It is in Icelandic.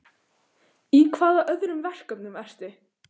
Í hvaða öðrum verkefnum ertu?